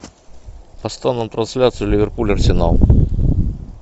поставь нам трансляцию ливерпуль арсенал